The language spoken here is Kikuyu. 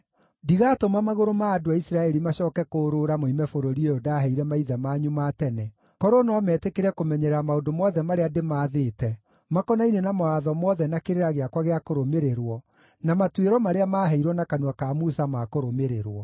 Ndigatũma magũrũ ma andũ a Isiraeli macooke kũũrũũra moime bũrũri ũyũ ndaheire maithe manyu ma tene, korwo no metĩkĩre kũmenyerera maũndũ mothe marĩa ndĩmaathĩte makonainie na mawatho mothe na kĩrĩra gĩakwa gĩa kũrũmĩrĩrwo na matuĩro marĩa maaheirwo na kanua ka Musa ma kũrũmĩrĩrwo.”